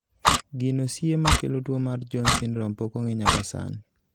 gino siye makelo tuo mar Jones syndrome pok ong'e nyaka sani